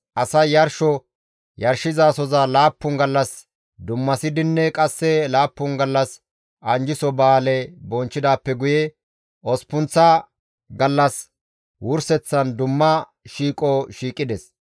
Asay yarsho yarshizasoza laappun gallas dummasidinne qasse laappun gallas anjjiso ba7aale bonchchidaappe guye osppunththa gallas wurseththan dumma shiiqo shiiqides.